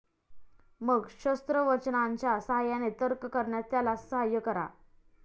मग शास्त्रवचनांच्या साहाय्याने तर्क करण्यास त्याला साहाय्य करा.